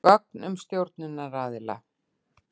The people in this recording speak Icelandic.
Gögn um stjórnunaraðila.